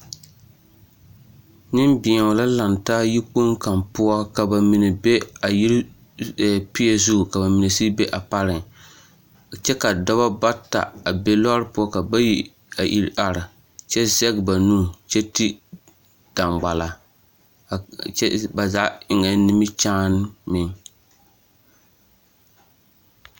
Nenbeɛo la laŋ taa yikpoŋ kaŋa poɔ ka ba mine be a yiri e peɛ zu ka ba mine sigi be a pareŋ kyɛ ka dɔba bata a be lɔɔre poɔ ka bayi a iri are kyɛ zɛge ba nu kyɛ ti daŋgballa a kyɛ ba zaa eŋɛɛ nimikyaane meŋ.